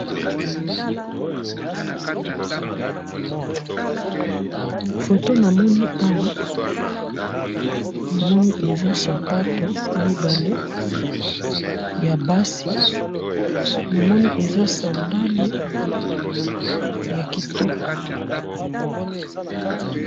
Libido na Nga namoni Bana mibale, Moko ya mwasi mosusu ya mobali, batelemi, bon mwana mwasi alati Oyo balobaka na monoko ya poto, ba lunettes alati pe pantalon ya onzinga, mwana mwasi, na tricot ya pembe. Nde namoni yango wana.